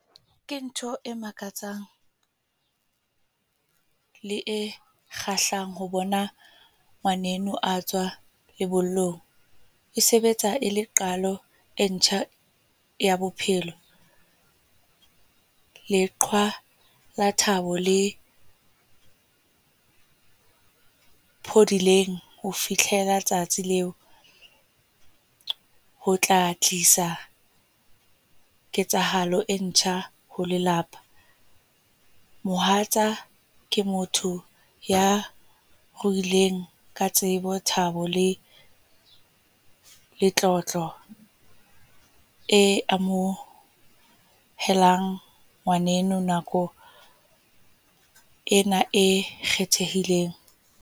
Ke ntho e makatsang, le e kgahlang ho bona ngwaneno a tswa lebollong. E sebetsa e le qalo, e ntjha ya bophelo. Leqhwa la thabo, le phodileng ho fihlela tsatsi leo. Ho tla tlisa ketsahalo e ntjha ho lelapa. Mohatsa ke motho ya ruileng ka tsebo, thabo le letlotlo. E amohelang ngwaneno nakong ena e kgethehileng.